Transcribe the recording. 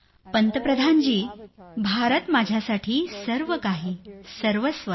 पंतप्रधान जी भारत माझ्यासाठी सर्वकाही सर्वस्व आहे